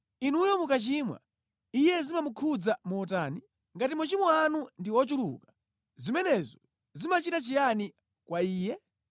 Inuyo mukachimwa, Iye zimamukhudza motani? Ngati machimo anu ndi ochuluka, zimenezo zimachita chiyani kwa Iye?